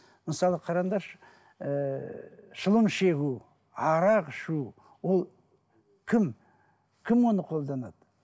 мысалы қараңдаршы ыыы шылым шегу арақ ішу ол кім кім оны қолданады